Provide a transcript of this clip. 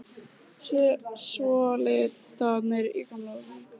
Svona liðu nú dagarnir í Gamla húsinu.